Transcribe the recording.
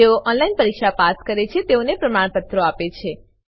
જેઓ ઓનલાઈન પરીક્ષા પાસ કરે છે તેઓને પ્રમાણપત્રો આપે છે